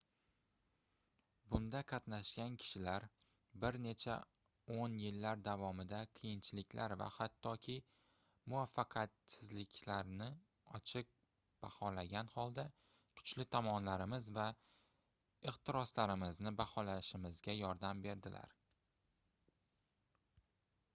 bunda qatnashgan kishilar bir necha oʻn yillar davomida qiyinchiliklar va hattoki muvaffaqiyatsizliklarni ochiq baholagan holda kuchli tomonlarimiz va ehtiroslarimizni baholashimizga yordam berdilar